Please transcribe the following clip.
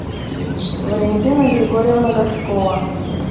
валентина григорьевна горшкова